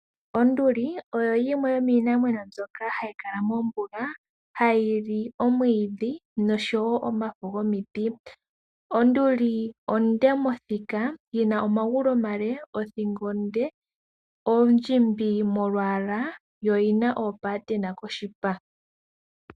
Onduli oyo yimwe yomiinamwenyo mbyoka hayi kala mombuga hayi li omwiidhi noshowo omafo gomiti. Onduli onde mothika, yina omagulu omale, othingo onde, ondjimbi molwaala yo oyina omatotona koshipa.